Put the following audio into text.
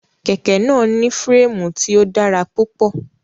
Kẹ̀kẹ́ náà ní férémù tí ó dára púpọ̀.